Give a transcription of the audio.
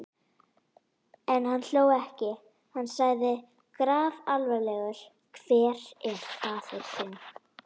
En hann hló ekki: Hann sagði grafalvarlegur: Hver er faðir þinn?